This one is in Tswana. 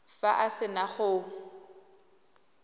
fa a se na go